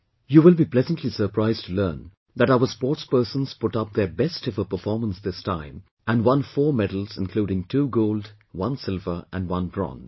You will be pleasantly surprised to learn that our sportspersons put up their best ever performance this time and won 4 medals including two gold, one silver and one bronze